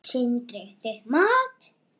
Sindri: Þitt mat?